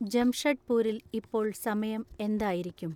ജംഷഡ്‌പൂരിൽ ഇപ്പോൾ സമയം എന്തായിരിക്കും